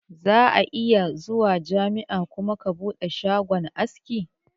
Zaka iya zuwa jami'a kuma ka bude shagon aski